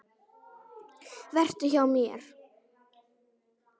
Vertu hjá mér.